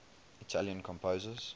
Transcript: italian composers